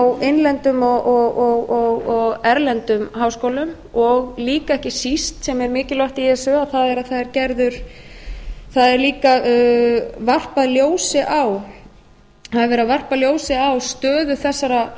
á innlendum og erlendum háskólum og líka ekki síst sem er mikilvægt í þessu það er að það er líka varpað ljósi á það er verið að varpa ljósi á stöðu þessara